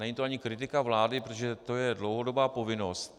Není to ani kritika vlády, protože to je dlouhodobá povinnost.